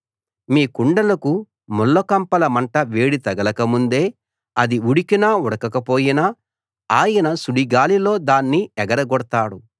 మీ కుండలకు ముళ్లకంపల మంట వేడి తగలకముందే అది ఉడికినా ఉడకకపోయినా ఆయన సుడిగాలిలో దాన్ని ఎగరగొడతాడు